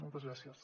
moltes gràcies